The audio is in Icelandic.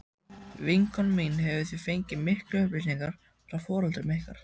Vinkona mín hefur því fengið miklar upplýsingar frá foreldrum ykkar.